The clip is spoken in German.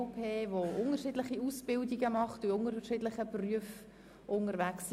Diese Leute absolvieren unterschiedliche Ausbildungen und lernen verschiedene Berufe.